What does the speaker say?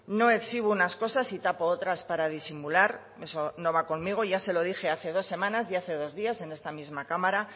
no exhibo unas cosas y tapo otras para disimular eso no va conmigo y ya se lo dije hace dos semanas y hace dos días en esta misma cámara